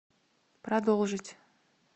продолжить